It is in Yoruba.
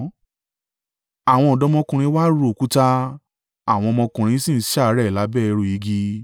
Àwọn ọ̀dọ́mọkùnrin wa ru òkúta; àwọn ọmọkùnrin sì ń ṣàárẹ̀ lábẹ́ ẹrù igi.